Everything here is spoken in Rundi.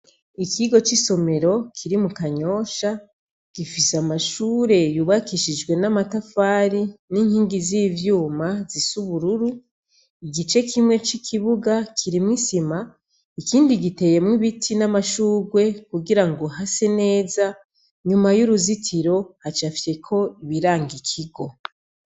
Ikigo c'isomero kiri mu Kanyosha, gifise amashure yubakishijwe n'amatafari n'inkingi z'ivyuma zisa ubururu, igice kimwe c'ikibuga kirimwo isima, ikindi giteyemwo ibiti n'amashurwe kugirango hase neza, inyuma y'uruzitiro hacafyeko ibiranga ikigo.